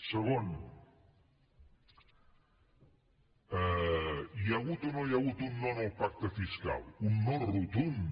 segon hi ha hagut o no hi ha hagut un no al pacte fiscal un no rotund